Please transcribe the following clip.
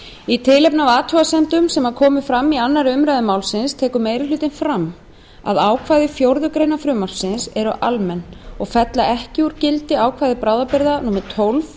í tilefni af athugasemdum sem fram komu í annarri umræðu málsins tekur meiri hlutinn fram að ákvæði fjórðu grein frumvarpsins eru almenn og fella ekki úr gildi ákvæði til bráðabirgða tólf